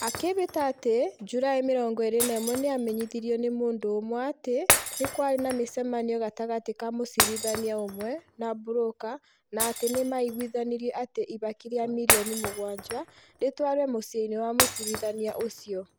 Akĩĩhĩta atĩ Julaĩ 21 nĩ aamenyithirio nĩ mũndũ ũmwe atĩ nĩ kwarĩ na mĩcemanio gatagatĩ ka mũciritahnia ũmwe na broka na atĩ nĩ maiguithanĩirie ati ihaki rĩa mirioni mũgwaja ritwarwo muciini wa mũcirithania uciio